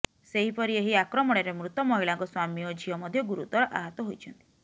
ସେହିପରି ଏହି ଆକ୍ରମଣରେ ମୃତ ମହିଳାଙ୍କ ସ୍ୱାମୀ ଓ ଝିଅ ମଧ୍ୟ ଗୁରୁତର ଆହତ ହୋଇଛନ୍ତି